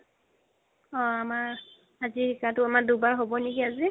অহ আমাৰ আজি দুবাৰ হ'ব নেকি আজি